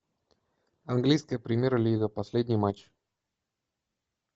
английская премьер лига последний матч